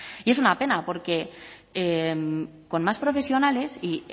y es una pena porque con más profesionales y